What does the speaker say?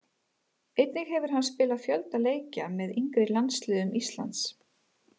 Einnig hefur hann spilað fjölda leikja með yngri landsliðum Íslands.